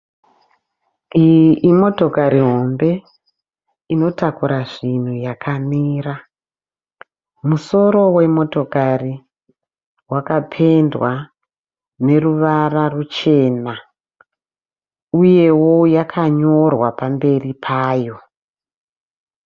Iyi imotokari hombe inotakura zvinhu yakamira. Musoro wemotokari wakapendwa neruvara ruchena uyewo yakanyorwa pamberi payo.